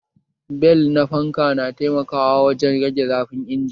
Bel na fanka na taimaka wajen rage zafin injin